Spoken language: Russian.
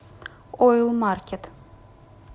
ойл маркет